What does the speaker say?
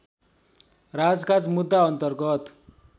राजकाज मुद्दा अन्तर्गत